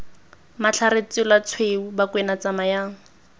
matlhare tsela tshweu bakwena tsamayang